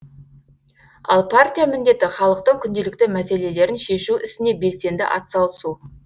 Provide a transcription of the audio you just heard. ал партия міндеті халықтың күнделікті мәселелерін шешу ісіне белсенді атсалысу